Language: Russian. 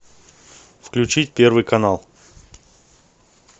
включить первый канал